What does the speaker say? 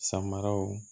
Samaraw